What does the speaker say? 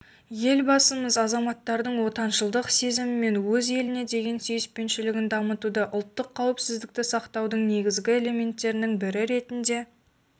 елбасымыз азаматтардың отаншылдық сезімі мен өз еліне деген сүйіспеншілігін дамытуды ұлттық қауіпсіздікті сақтаудың негізгі элементтерінің бірі ретінде